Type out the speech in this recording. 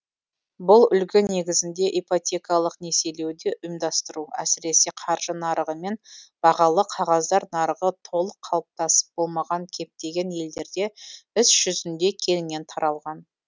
бұл үлгі негізінде ипотекалық несиелеуді ұйымдастыру әсіресе қаржы нарығы мен бағалы қағаздар нарығы толық қалыптасып болмаған кептеген елдерде іс жүзінде кеңінен таралған